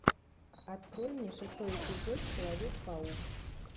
открой мне шестой эпизод человек паук